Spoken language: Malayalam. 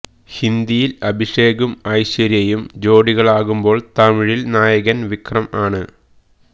ഹിന്ദിയില് അഭിഷേകും ഐശ്വര്യയും ജോഡികളാകുമ്പോള് തമിഴില് നായകന് വിക്രം ആണ്